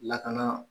Lakana